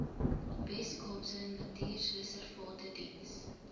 weskaapse natuurreservate diens